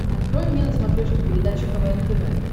открой мне на смотрешке передачу квн тв